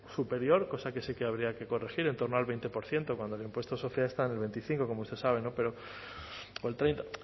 superior cosa que sí que habría que corregir en torno al veinte por ciento cuando el impuesto de sociedades está en el veinticinco como usted sabe o el treinta